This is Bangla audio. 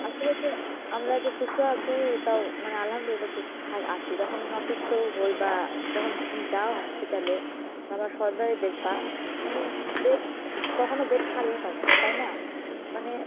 আসলে যে আমরা যে সুস্থ আছি এটাও মানে আলহামদুলিল্লাহ সুস্থ আছি যখন মানে অসুস্থ হই বা যখন তুমি যাও hospital এ দেখবা কখনো bed খালিই থাকে না। তাই না? মানে